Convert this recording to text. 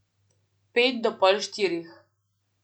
Pet do pol štirih.